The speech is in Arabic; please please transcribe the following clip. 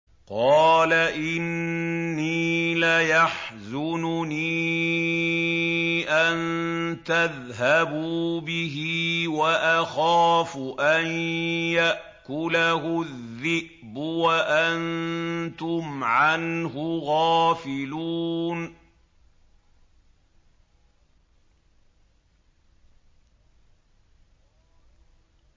قَالَ إِنِّي لَيَحْزُنُنِي أَن تَذْهَبُوا بِهِ وَأَخَافُ أَن يَأْكُلَهُ الذِّئْبُ وَأَنتُمْ عَنْهُ غَافِلُونَ